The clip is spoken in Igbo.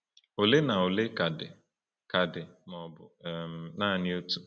Ole na ole ka dị, ka dị, ma ọ bụ um naanị otu.